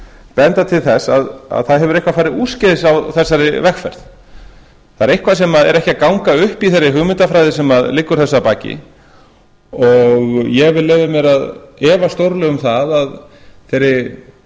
benda til þess að það hefur eitthvað farið úrskeiðis á þessari vegferð það er eitthvað sem ekki er að ganga upp í þeirri hugmyndafræði sem liggur þessu að baki ég vil leyfa mér að efast stórlega um að þeirri